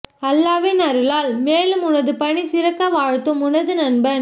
அல்லாஹ்வின் அருளால் மேலும் உனது பணி சிறக்க வாழ்த்தும் உனது நண்பன்